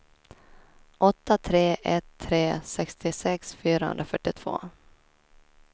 åtta tre ett tre sextiosex fyrahundrafyrtiotvå